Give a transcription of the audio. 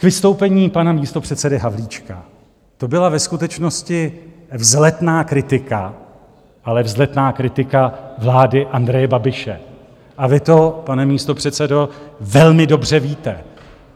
K vystoupení pana místopředsedy Havlíčka: to byla ve skutečnosti vzletná kritika, ale vzletná kritika vlády Andreje Babiše, a vy to, pane místopředsedo, velmi dobře víte.